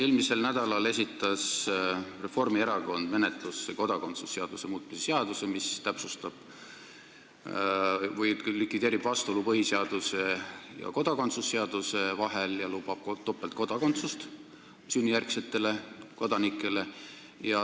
Eelmisel nädalal esitas Reformierakond menetlusse kodakondsuse seaduse muutmise seaduse eelnõu, mis likvideerib vastuolu põhiseaduse ja kodakondsuse seaduse vahel ning lubab topeltkodakondsust sünnijärgsetele kodanikele.